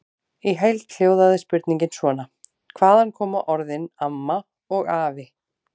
Í heild hljóðaði spurningin svona: Hvaðan koma orðin AMMA og AFI?